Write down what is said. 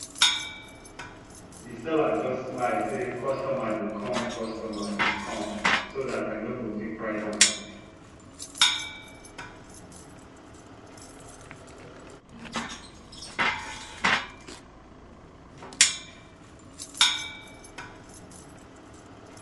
the seller just smile say customer dey come customer dey come so that i nogo fit price am